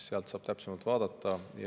Sealt saab täpsemalt vaadata.